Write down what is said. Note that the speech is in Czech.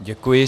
Děkuji.